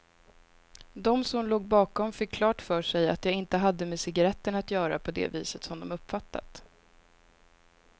De som låg bakom fick klart för sig att jag inte hade med cigaretterna att göra på det viset som de uppfattat.